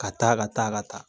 Ka taa ka taa ka taa